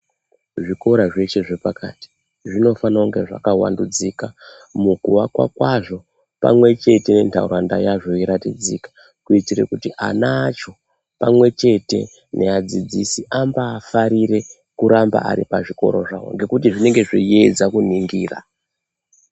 Zvikora zveshe zvepakati zvinofana kuva zvakawandudzika mukuwakwa kwazvo pamwe chete ndaraunda yacho iratidzike kuitira kuti ana acho pamwe chete neadzidzisi ambafarire kuramba Ari pazvikora zvawo ngekuti zvinenge zveiedza kuningira.